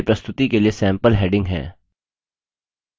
वे प्रस्तुति के लिए सैम्पल headings हैं